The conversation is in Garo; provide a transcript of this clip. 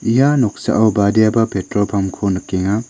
ia noksao badiaba petrol pump-ko nikenga.